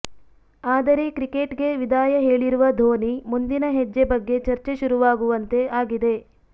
ಆದರೆ ಕ್ರಿಕೆಟ್ ಗೆ ವಿದಾಯ ಹೇಳಿರುವ ಧೋನಿ ಮುಂದಿನ ಹೆಜ್ಜೆ ಬಗ್ಗೆ ಚರ್ಚೆ ಶುರುವಾಗುವಂತೆ ಆಗಿದೆ